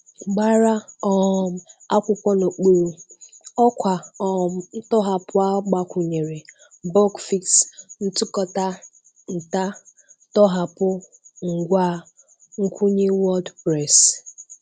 Gbara um Akwụkwọ N'okpuru: Ọkwa um Ntọhapụ a gbakwụnyere: bugfix, ntụkọta, nta, tọhapụ, ngwa nkwụnye wordpress.